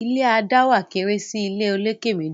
ilé a dáwà kéré sí ìlé olokè méjì